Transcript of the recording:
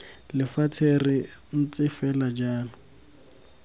lefatshe re ntse fela jalo